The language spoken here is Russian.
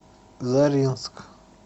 заринск